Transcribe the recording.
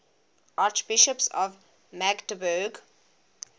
archbishops of magdeburg